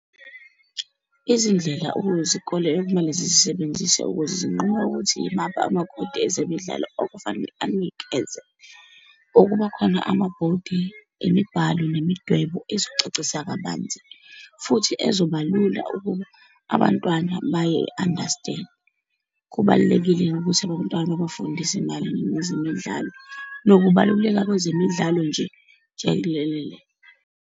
Izindlela okuyizikole okumele zizisebenzise ukuze zinqume ukuthi imaphi amakhodi ezemidlalo okufanele anikeze. Ukubakhona amabhodi emibhalo nemidwebo ezocacisa kabanzi, futhi ezobalula ukuba abantwana bayi-understand-e. Kubalulekile ukuthi abantwana bafunde izimali nezemidlalo, nokubaluleka kwezemidlalo nje jelelele.